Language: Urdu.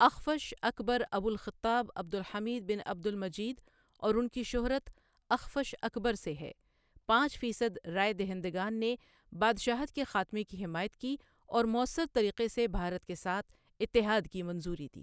اخفش اکبرابو الخطاب عبد الحميد بن عبد المجيد اور ان کی شہرت اخفش اکبر سے ہے پانچ فیصد رائے دہندگان نے بادشاہت کے خاتمے کی حمایت کی، اور مؤثر طریقے سے بھارت کے ساتھ اتحاد کی منظوری دی۔